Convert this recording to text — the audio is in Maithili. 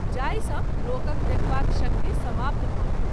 जाहि सँ लोकक देखबाक शक्ति समाप्त भ’ गेल।